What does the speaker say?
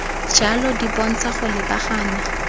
jalo di bontsha go lebagana